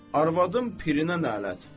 Arvadın pirinə lə'nət.